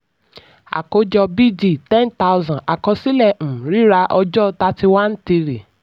àkójọ b d: ten thousand àkọsílẹ̀ um rírà ọjọ́ thirty one three.